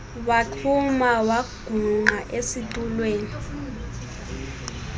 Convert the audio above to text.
waxhuma wagungqa esitulweni